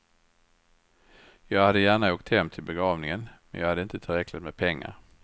Jag hade gärna åkt hem till begravningen, men jag hade inte tillräckligt med pengar.